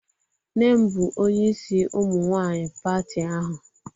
Nnem bu onye isi umunwanyi pati ahu